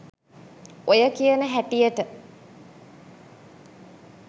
ඔය කියන හැටියට